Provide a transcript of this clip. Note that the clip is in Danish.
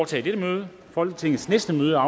til folketingsbeslutning er